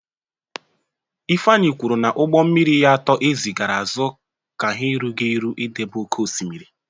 Ifeanyi kwuru na ụgbọ mmiri ya atọ ezigara azụ ka ha erughị eru idebe oke osimiri.